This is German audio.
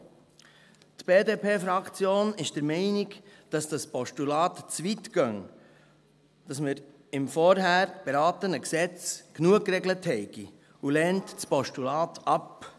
Die BDP-Fraktion ist der Meinung, dass dieses Postulat zu weit geht, dass wir im vorhin beratenen Gesetz genug geregelt haben, und lehnt das Postulat ab.